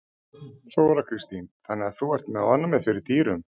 Þóra Kristín: Þannig að þú ert með ofnæmi fyrir dýrum?